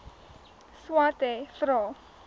swathe vra